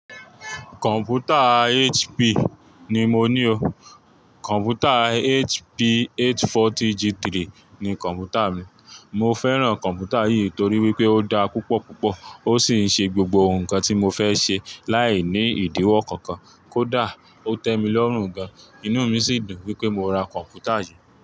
Kọ̀m̀pútà HP ni mo ní o. Kọ̀m̀pútà HP 840 G3 ni kọ̀m̀pútà mi. Mo fẹ́ràn kọ̀m̀pútà yìí torí pé ó dáa púpọ̀ púpọ̀, ó sì ń ṣe gbogbo nǹkan tí mo fẹ́ ṣe láì ní ìdíwọ́ kankan. Kó dà, ó tẹ́ mi lọ́rùn gan-an, inú mi sì dùn pé mo ra kọ̀m̀pútà yí.